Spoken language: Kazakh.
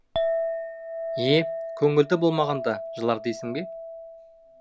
е көңілді болмағанда жылар дейсің бе